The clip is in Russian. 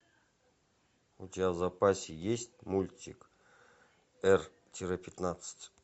у тебя в запасе есть мультик р тире пятнадцать